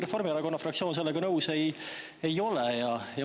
Reformierakonna fraktsioon sellega küll nõus ei ole.